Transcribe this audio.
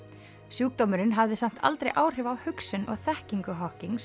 sjúkdómurinn hafði samt aldrei áhrif á hugsun og þekkingu